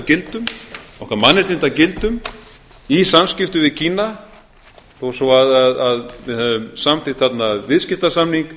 gildum okkar mannréttindagildum í samskiptum við kína þó svo að við höfum samþykkt þarna viðskiptasamning